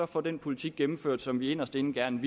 få den politik gennemført som vi inderst inde gerne